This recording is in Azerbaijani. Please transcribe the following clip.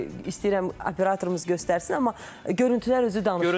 İstəyirəm operatorumuz göstərsin, amma görüntülər özü danışır əslində.